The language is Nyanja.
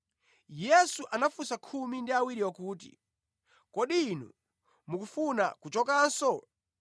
Yesu anafunsa khumi ndi awiriwo kuti, “Kodi inu mukufuna kuchokanso?”